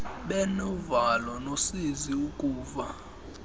benovalo nosizi ukuva